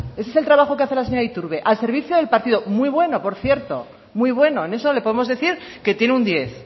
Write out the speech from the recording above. ese es el trabajo que hace la señora iturbe al servicio del partido muy bueno por cierto muy bueno en eso le podemos decir que tiene un diez